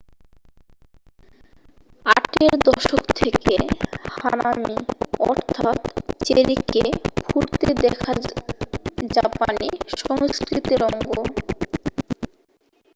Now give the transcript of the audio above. আটের দশক থেকে হানামি অর্থাৎ চেরিকে ফুটতে দেখা জাপানি সংস্কৃতির অঙ্গ